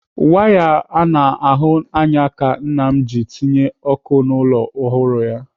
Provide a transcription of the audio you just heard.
Waya a na-ahụ anya ka nna m ji tinye ọkụ n'ụlọ ọhụrụ ya.